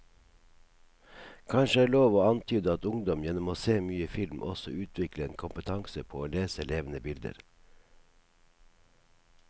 Kanskje er det lov å antyde at ungdom gjennom å se mye film også utvikler en kompetanse på å lese levende bilder.